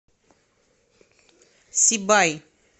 сибай